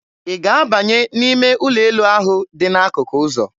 Ị ga-abanye n'ime ụlọ elu ahụ dị n'akụkụ ụzọ?